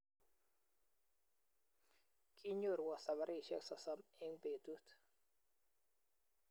Kinyorwo sabarisyek sosom eng betut